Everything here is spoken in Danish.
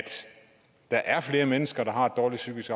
der er flere mennesker der har et dårligt psykisk